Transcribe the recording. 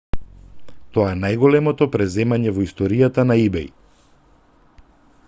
тоа е најголемото преземање во историјата на ибеј